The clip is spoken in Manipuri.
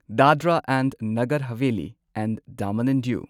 Dadra and Nagar Haveli and Daman and Diu